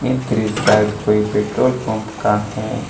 दृश्य शायद कोई पेट्रोल पंप का है।